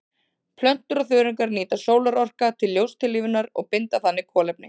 Plöntur og þörungar nýta sólarorka til ljóstillífunar og binda þannig kolefni.